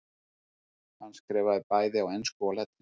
Hann skrifaði bæði á ensku og latínu.